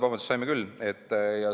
Vabandust, saime küll.